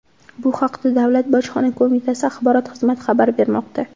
Bu haqda Davlat bojxona qo‘mitasi axborot xizmati xabar bermoqda.